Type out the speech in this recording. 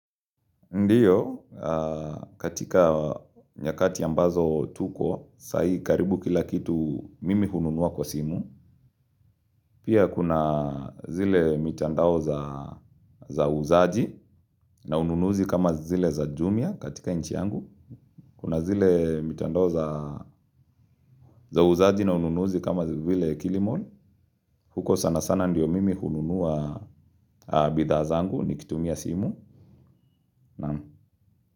Ndiyo, katika nyakati ambazo tuko, sahii karibu kila kitu mimi hununua kwa simu. Pia kuna zile mitandao za uuzaji na ununuzi kama zile za jumia katika nchi yangu. Kuna zile mitandao za uuzaji na ununuzi kama zile kilimall. Huko sana sana ndiyo mimi hununua bidhaa zangu nikitumia simu.